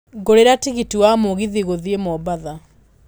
ngũrĩra tigiti wa mũgithi gũthiĩ mombatha